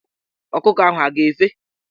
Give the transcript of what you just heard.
Ọkụkọ ahụ a ga--efe?